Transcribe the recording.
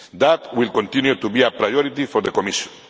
That will continue to be a priority for the Commission.